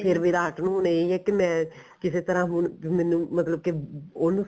ਫੇਰ ਵਿਰਾਟ ਨੂੰ ਇਹ ਐ ਕਿ ਮੈਂ ਕਿਸੇ ਤਰ੍ਹਾਂ ਹੁਣ ਮੈਨੂੰ ਮਤਲਬ ਕਿ ਉਹਨੂੰ